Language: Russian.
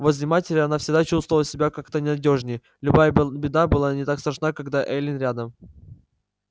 возле матери она всегда чувствовала себя как-то надёжней любая беда была не так страшна когда эллин рядом